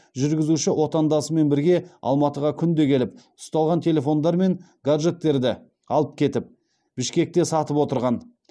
жүргізуші отандасымен бірге алматыға күнде келіп ұсталған телефондар мен гаджеттерді алып кетіп бішкекте сатып отырған